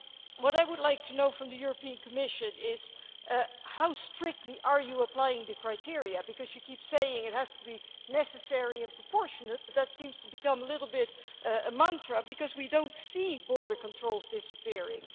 What I would like to know from the Commission is how strictly are you applying the criteria, because you keep saying it has to be necessary and proportionate, but that seems to have become a bit of a mantra because we do not see border controls disappearing.